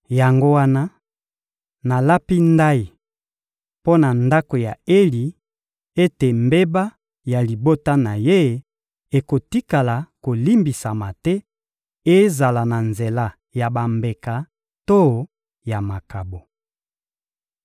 Yango wana, nalapi ndayi mpo na ndako ya Eli ete mbeba ya libota na ye ekotikala kolimbisama te, ezala na nzela ya bambeka to ya makabo.